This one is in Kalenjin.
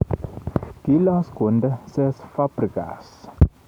Kilos Conte Cesc Fabigas